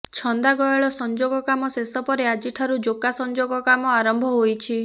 ଛନ୍ଦା ଗୟଳ ସଂଯୋଗ କାମ ଶେଷ ପରେ ଆଜିଠାରୁ ଯୋକା ସଂଯୋଗ କାମ ଆରମ୍ଭ ହୋଇଛି